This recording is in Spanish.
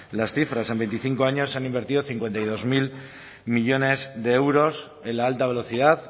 las cifras en veinticinco años se han invertido cincuenta y dos mil millónes de euros en la alta velocidad